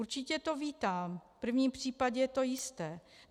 Určitě to vítám, v prvním případě je to jisté.